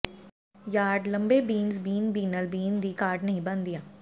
yard ਲੰਬੇ beans bean ਬੀਨਲ bean ਦੀ ਘਾਟ ਨਹੀਂ ਬਣਦੀਆਂ